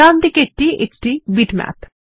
ডানদিকেরটি একটি বিটম্যাপ